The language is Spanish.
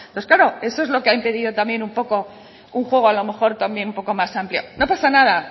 pues claro eso es lo que ha impedido también un poco un juego a lo mejor también un poco más amplio no pasa nada